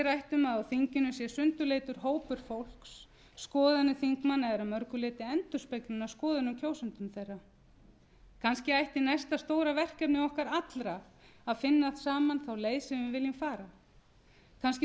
um að á þinginu sé sundurleitur hópur fólks skoðanir þingmanna eru að mörgu leyti endurspeglun af skoðunum kjósenda þeirra kannski ætti næsta stóra verkefni okkar allra að finna saman þá leið sem við viljum fara kannski þurfum